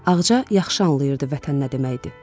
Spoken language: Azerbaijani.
Ağca yaxşı anlayırdı vətən nə deməkdir.